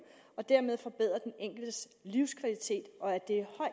og dermed forbedre den enkeltes livskvalitet og at